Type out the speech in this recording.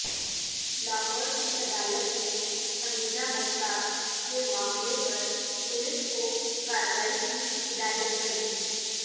لاہور کی عدالت نے حمیزہ مختار کے معاملے پر پولیس کو کارروائی کی ہدایت کردی